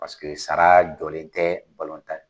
Paseke sara jɔlen tɛ in na